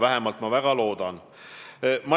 Vähemalt ma väga loodan seda.